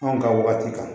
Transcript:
Anw ka waati kan